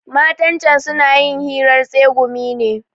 Matan can suna yin hirar tsegumi ne.